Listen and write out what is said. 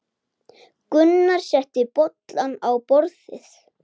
Gunnar setti bollana á borðið.